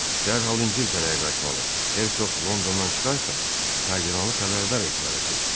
dərhal İngiltərəyə qayıtmalı, Hersoq Londondan çıxarsa, kardinalı xəbərdar etməlisiniz.